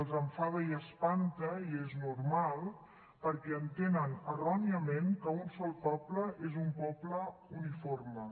els enfada i espanta i és normal perquè entenen erròniament que un sol poble és un poble uniforme